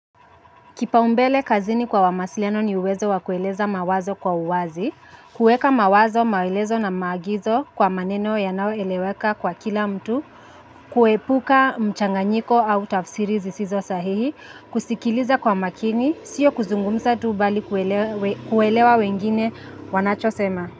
Kipa umbele kazini kwa wamasiliano ni uwezo wakueleza mawazo kwa uwazi, kueka mawazo, maelezo na maagizo kwa maneno ya nao eleweka kwa kila mtu, kuepuka mchanganyiko au tafsirizi sizo sahihi, kusikiliza kwa makini, sio kuzungumsa tuu bali kuelewa wengine wanachosema.